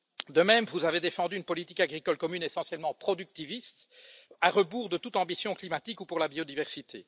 De même, vous avez défendu une politique agricole commune essentiellement productiviste, à rebours de toute ambition climatique ou pour la biodiversité.